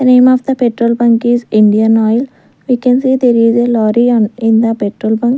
the name of the petrol bunk is indian oil we can see there is a lorry on in the petrol bunk.